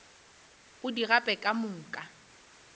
o di gape ka moka